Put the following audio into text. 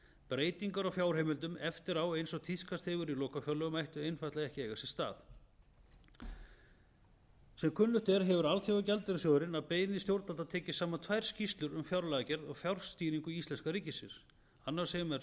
breytingar á fjárheimildum eftirá eins og tíðkast hefur í lokafjárlögum ætti einfaldlega ekki að eiga sér stað sem kunnugt er hefur alþjóðagjaldeyrissjóðurinn að beiðni stjórnvalda tekið saman tvær skýrslur um fjárlagagerð og fjárstýringu íslenska ríkisins annars vegar sem er